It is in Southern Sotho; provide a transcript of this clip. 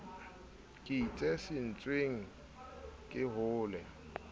ke itse setsweng ke hole